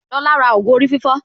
Lọlá ra ògù orí fífọ́